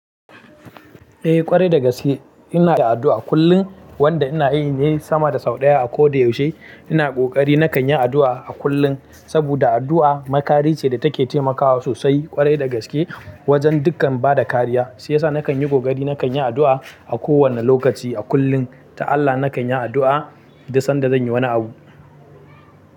Eh ƙwarai da gaske ina da addu'a kullum wanda ina yi ne sama da sau ɗaya a ko da yaushe. Ina kokari nakan yi addu'a a kullum sabuda addu'a makari ce da take taimakawa sosai ƙwarai da gaske wajen dukkan bada kariya shiyasa nakan yi kokari nakan yi addu'a a kowane lokaci a kullum ta Allah nakan yi addu'a duk sanda zan yi wani abu.